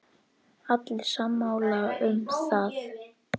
Allir sammála um það.